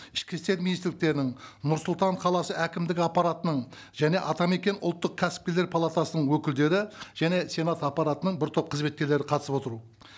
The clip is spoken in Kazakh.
ішкі істер министрліктерінің нұр сұлтан қаласы әкімдік аппаратының және атамекен ұлттық кәсіпкерлер палатасының өкілдері және сенат аппаратының бір топ қызметкерлері қатысып отыру